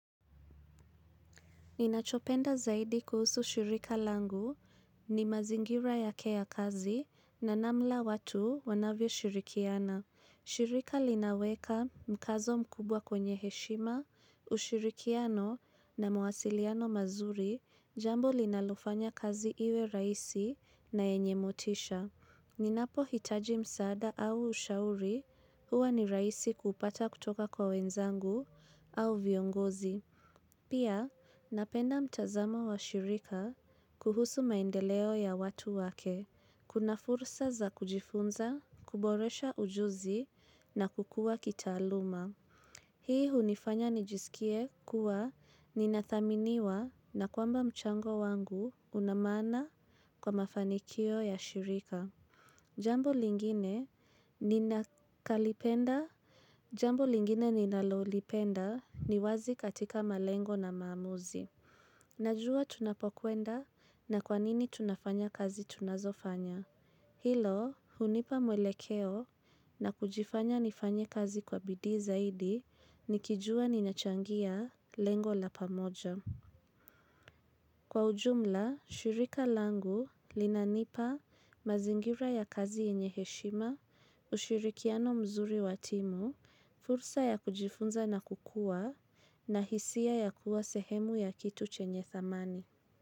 Ninachopenda zaidi kuhusu shirika langu ni mazingira yake ya kazi na namla watu wanavyo shirikiana. Shirika linaweka mkazo mkubwa kwenye heshima, ushirikiano na mwasiliano mazuri jambo linalofanya kazi iwe raisi na enye motisha. Ninapo hitaji msaada au ushauri huwa ni raisi kupata kutoka kwa wenzangu au viongozi. Pia napenda mtazamo wa shirika kuhusu maendeleo ya watu wake. Kuna fursa za kujifunza, kuboresha ujuzi na kukua kitaaluma. Hii hunifanya nijisikie kuwa ninathaminiwa na kwamba mchango wangu unamana kwa mafanikio ya shirika. Jambo lingine ninalolipenda ni wazi katika malengo na maamuzi. Najua tunapokuenda na kwanini tunafanya kazi tunazofanya. Hilo, hunipa mwelekeo na kujifanya nifanye kazi kwa bidi zaidi nikijua ninachangia lengo la pamoja. Kwa ujumla, shirika langu linanipa mazingira ya kazi enye heshima, ushirikiano mzuri wa timu, fursa ya kujifunza na kukua, na hisia ya kuwa sehemu ya kitu chenye thamani.